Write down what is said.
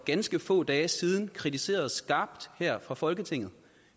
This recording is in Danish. ganske få dage siden kritiserede skarpt her fra folketinget